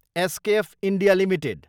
SKF India Ltd